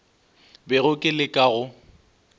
bego ke le ka go